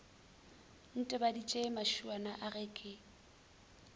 ntebaditše mašuana a ge ke